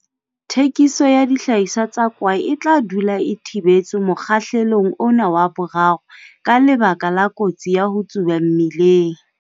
Thekiso ya dihlahiswa tsa kwae e tla dula e thibetswe mokgahlelong ona wa 3, ka lebaka la kotsi ya ho tsuba mmeleng.